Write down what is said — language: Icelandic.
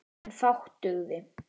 En fátt dugði.